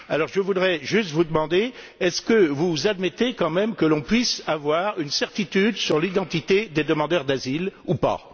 Alors, je voudrais juste vous demander est ce que vous admettez quand même que l'on puisse avoir une certitude sur l'identité des demandeurs d'asile ou pas?